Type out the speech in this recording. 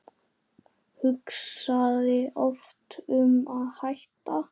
Hugsaði oft um að hætta.